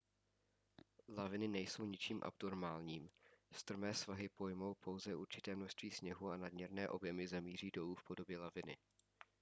laviny nejsou ničím abnormálním strmé svahy pojmou pouze určité množství sněhu a nadměrné objemy zamíří dolů v podobě laviny